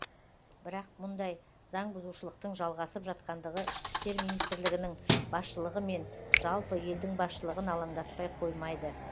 бірақ мұндай заңбұзушылықтың жалғасып жатқандығы ішкі істер министрлігінің басшылығы мен жалпы елдің басшылығын алаңдатпай қоймайды